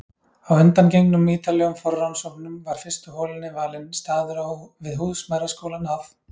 Að undangengnum ítarlegum forrannsóknum var fyrstu holunni valinn staður við húsmæðraskólann að